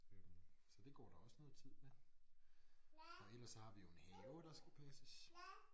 Så det går der også noget tid med og ellers så har vi jo en have der skal passes